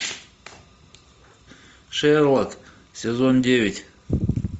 шерлок сезон девять